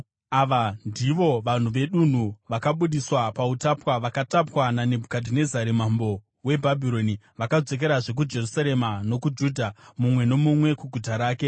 Ava ndivo vanhu vedunhu vakabudiswa pautapwa vakatapwa naNebhukadhinezari mambo weBhabhironi (vakadzokera kuJerusarema nokuJudha, mumwe nomumwe kuguta rake,